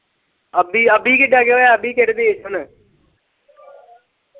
ਅਭੀ, ਅਭੀ ਕਿੱਥੇ ਗਿਆ ਹੁਣ ਅਭੀ ਕਿਹੜੇ ਦੇਸ਼ ਹੁਣ।